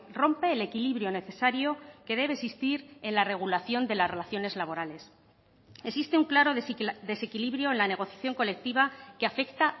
rompe el equilibrio necesario que debe existir en la regulación de las relaciones laborales existe un claro desequilibrio en la negociación colectiva que afecta